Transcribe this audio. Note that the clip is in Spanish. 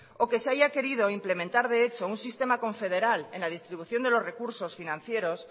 o que se haya querido implementar un sistema confederal en la distribución de los recursos financieros